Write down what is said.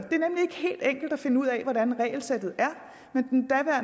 er finde ud af hvordan regelsættet